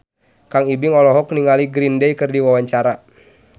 Kang Ibing olohok ningali Green Day keur diwawancara